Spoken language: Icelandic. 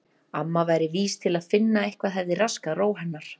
Amma væri vís til að finna að eitthvað hefði raskað ró hennar.